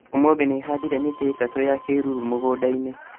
ũmũthĩ nĩhandire mĩtĩ ĩtatũ ya kĩruru mũgũnda-inĩ